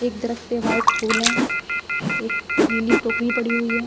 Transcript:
एक दरख्त पे वाइट फूल है एक नीली टोकरी पड़ी हुई है ।